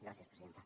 gràcies presidenta